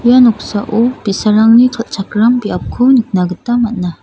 ua noksao bi·sarangni kal·chakram biapko nikna gita man·a.